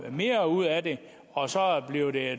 mere ud af det og så bliver det